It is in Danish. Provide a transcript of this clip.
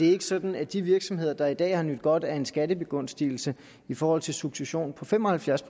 er sådan at de virksomheder der i dag har nydt godt af en skattebegunstigelse i forhold til succession på fem og halvfjerds